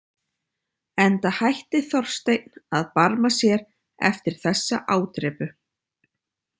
Enda hætti Þorsteinn að barma sér eftir þessa ádrepu.